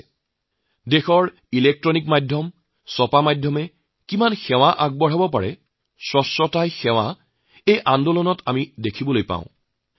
আমাৰ দেশৰ বৈদ্যুতিন মাধ্যম ছপা মাধ্যমে দেশৰ কিমান ডাঙৰ সেৱাৰ কাম কৰিব পাৰে সেয়া আমি স্বচ্ছতাই সেৱা আন্দোলনত দেখিছোঁ